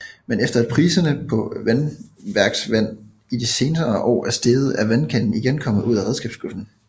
Men efter at priserne på vandværksvand i de senere år er steget er vandkanden igen kommet ud af redskabsskuret